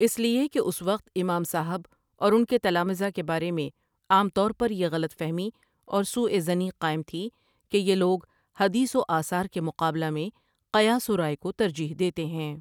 اس لیے کہ اس وقت امام صاحب اور اُن کے تلامذہ کے بارے میں عام طور پر یہ غلط فہمی اور سوء ظنی قائم تھی کہ یہ لوگ حدیث وآثار کے مقابلہ میں قیاس ورائے کوترجیح دیتے ہیں۔